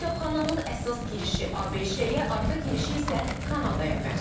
Kitabxananın əsas girişi ABŞ-yə, arxa girişi isə Kanadaya məxsusdur.